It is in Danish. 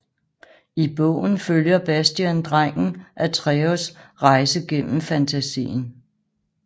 I bogen følger Bastian drengen Atreyus rejse gennem Fantásien